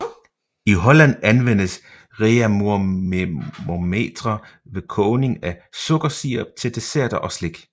I Holland anvendes Reaumurtermometre ved kogning af sukkersirup til desserter og slik